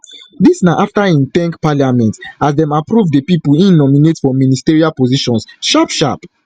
dis na after im thank parliament as dem approve di pipo im nominate for ministerial positions sharpsharp